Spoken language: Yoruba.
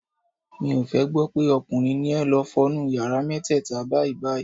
Mi ò fẹ́ gbọ́ pé ọkùnrin ni ẹ, lọ fọ nu yàrá mẹ́tẹ́ẹ̀ta báyìí-báyìí.